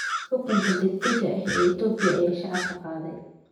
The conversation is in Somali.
Xukunka degdega ah ee Itoobiya ayaa shaaca ka qaaday